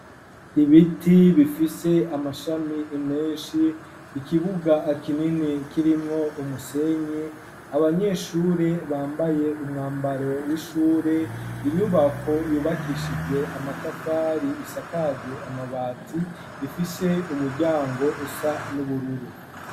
Ibiti bifise amashami menshi ikibuga kinini kirimwo umusenyi abanyeshure bambaye umwambaro w'ishure inyubako yubakishijwe amatafari isakaje amabati ifise umuryango usa n'ubururu.